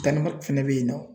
fɛnɛ bɛ yen nɔ.